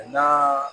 A na